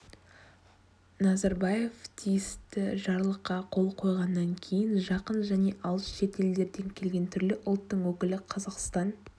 назарбаев тиісті жарлыққа қол қойғаннан кейін жақын және алыс шетелдерден келген түрлі ұлттың өкілі қазақстан